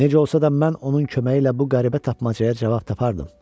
Necə olsa da mən onun köməyi ilə bu qəribə tapmacaya cavab tapardım.